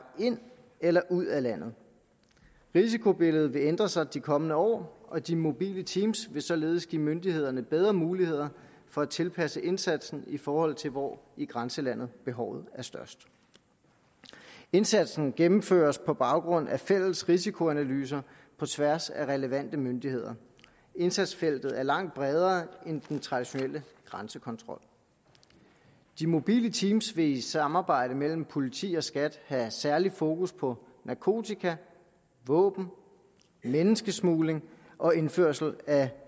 ind eller ud af landet risikobilledet vil ændre sig de kommende år og de mobile team vil således give myndighederne bedre muligheder for at tilpasse indsatsen i forhold til hvor i grænselandet behovet er størst indsatsen gennemføres på baggrund af fælles risikoanalyser på tværs af relevante myndigheder indsatsfeltet er langt bredere end den traditionelle grænsekontrol de mobile team vil i samarbejde med politi og skat have særligt fokus på narkotika våben menneskesmugling og indførsel af